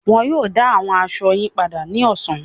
Wọn yóò dá àwọn aṣọ yín padà ní ọ̀sán.